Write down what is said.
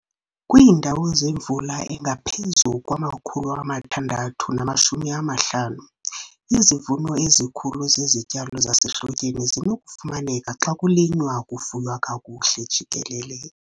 Kwiindawo zemvula engaphezu kwama-650, izivuno ezikhulu zezityalo zasehlotyeni zinokufumaneka xa kulinywa kufuywa kakuhle jikelele.